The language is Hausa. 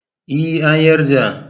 Ee, an yarda.